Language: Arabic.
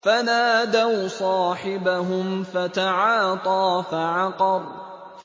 فَنَادَوْا صَاحِبَهُمْ فَتَعَاطَىٰ فَعَقَرَ